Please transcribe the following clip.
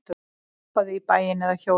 Labbaðu í bæinn eða hjólaðu.